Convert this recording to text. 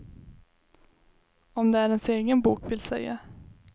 Om det är ens egen bok, vill säga.